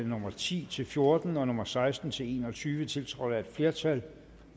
nummer ti til fjorten og nummer seksten til en og tyve tiltrådt af et flertal